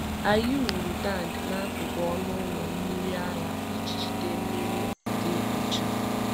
Anyị wuru wuru tank n’akụkụ ọnụ ụlọ mmiri ara iji jide mmiri dị ọcha.